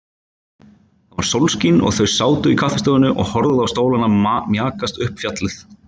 Það var sólskin og þau sátu í kaffistofunni og horfðu á stólana mjakast upp fjallið.